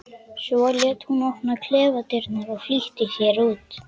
Svo lét hún opna klefadyrnar og flýtti sér út.